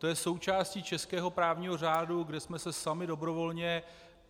To je součástí českého právního řádu, kde jsme se sami dobrovolně...